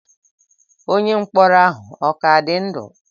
Onye mkpọrọ ahụ ọ ka dị ndụ?